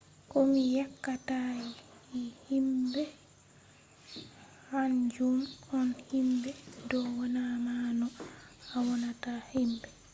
ko mi yeccata himbe kanjum on himbe do wanna ma no a wannata himbe